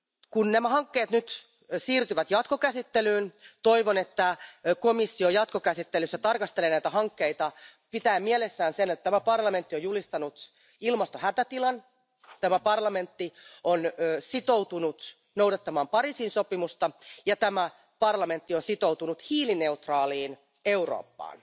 Kun nämä hankkeet nyt siirtyvät jatkokäsittelyyn, toivon, että komissio jatkokäsittelyssä tarkastelee näitä hankkeita pitäen mielessään sen, että tämä parlamentti on julistanut ilmastohätätilan, tämä parlamentti on sitoutunut noudattamaan Pariisin sopimusta ja tämä parlamentti on sitoutunut hiilineutraaliin Eurooppaan.